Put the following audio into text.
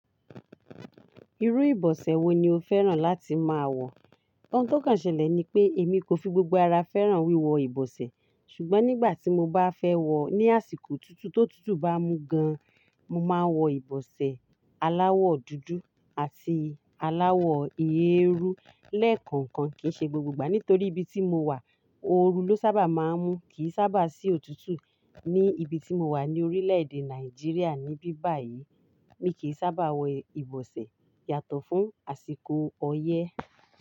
Irú ìbọ̀sẹ̀ wo ni o fẹ́ràn láti máa wọ̀? Ọun to kanṣẹlẹ̀ ni pé èmi kò fi gbogbo ara fẹ́ràn wíwọ ìbọ̀sẹ̀, ṣùgbọ́n nígbà tí mo bá fẹ́ wọ̀ ní àsìkò tutù tó tutù bá mú gan, mo máa wọ ìbọ̀sẹ̀ aláwọ̀ dúdú àti aláwọ̀ eérú lẹ́ẹ̀kọ̀ọ̀kan. Kì í ṣe gbogbo ìgbà nítorí ibi tí mo wà òru ló sábà máa ń mú, kì í sábà sí òtútù. Ní ibi tí mo wà ní orílẹ̀-èdè Nàìjíríà níbí báyìí, mi kì í sábà wọ ìbọ̀sẹ̀ yàtọ̀ fún àsìkò ọyẹ́.